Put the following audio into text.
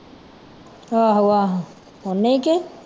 ਆਹੋ ਆਹੋ ਉਹਨੇ ਕਿ